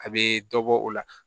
A bɛ dɔ bɔ o la